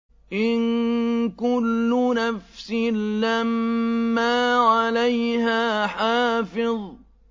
إِن كُلُّ نَفْسٍ لَّمَّا عَلَيْهَا حَافِظٌ